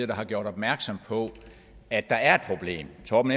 har gjort opmærksom på at der er et problem torben